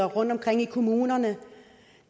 rundtomkring i kommunerne